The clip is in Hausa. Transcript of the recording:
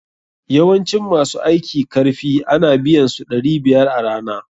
Yawancin ma su aiki karfi a na biyan su ɗari biyar a rana.